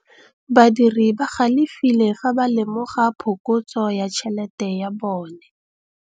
Badiri ba galefile fa ba lemoga phokotsô ya tšhelête ya bone.